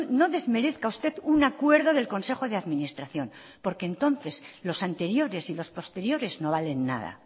no desmerezca usted un acuerdo del consejo de administración porque entonces los anteriores y los posteriores no valen nada